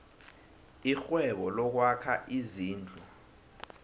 irhwebo lokwakha izindlu